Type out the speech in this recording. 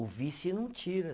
O vice não tira.